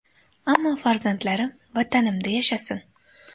Ammo farzandlarim Vatanimda yashasin”.